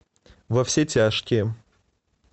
во все тяжкие